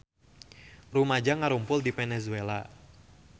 Rumaja ngarumpul di Venezuela